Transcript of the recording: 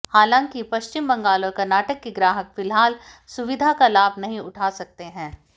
हालांकि पश्चिम बंगाल और कर्नाटक के ग्राहक फिलहाल सुविधा का लाभ नहीं उठा सकते हैं